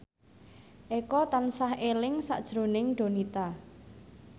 Eko tansah eling sakjroning Donita